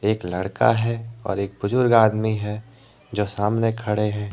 एक लड़का है और एक बुजुर्ग आदमी है जो सामने खड़े हैं।